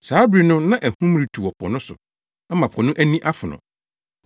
Saa bere no na ahum retu wɔ po so ama po no ani afono.